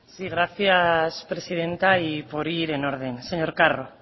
gracias presidenta y por ir en orden señor carro